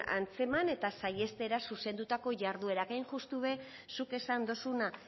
antzeman eta saihestera zuzendutako jarduerak hain justu ere zuk esan duzuna